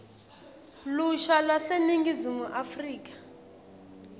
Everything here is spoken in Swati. lusha lwaseningizimu afrika